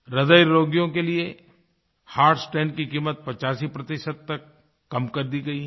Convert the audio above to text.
हृदयरोगियों के लिए हर्ट stentकी कीमत 85 तक कम कर दी गई है